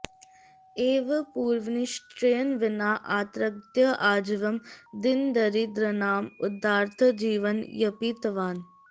एवं पूर्वनिश्चयेन विना अत्रागत्य आजीवम् दीनदरिद्रानाम् उद्धारार्थं जीवनं यापितवान्